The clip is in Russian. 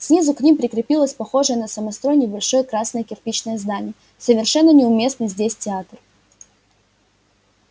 снизу к ним прилепилось похожее на самострой небольшое красное кирпичное здание совершенно неуместный здесь театр